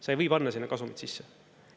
Sa ei või panna sinna kasumit sisse.